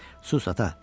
Sus, ata!